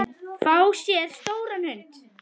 Fá sér stóran hund?